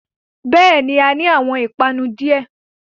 Bẹ́ẹ̀ni, A ni awọn ipanu diẹ